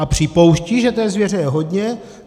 A připouštějí, že té zvěře je hodně.